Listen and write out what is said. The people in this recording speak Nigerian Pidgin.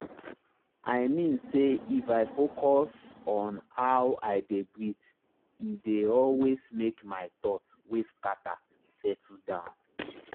i mean say if i focus on how i dey breathee dey always make my thoughts wey scatter settle down.